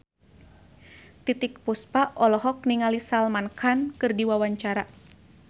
Titiek Puspa olohok ningali Salman Khan keur diwawancara